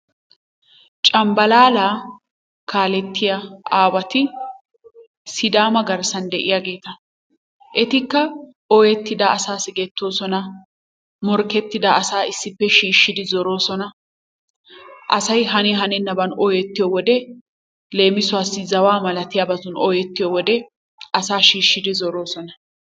Cambbalalla kaalletiyaa aawaati Sidama garssan de'iyaageeta. Etikka ooyettida asaa siggetoosona, morkkertida asaa issippe shiishshidi zoroosona, asay haniyaa hanenaban ooyettiyo wode, leemisuwassi zawaa malatiuaabatun ooyetiyo wode asaa shiishshidi zoroosona.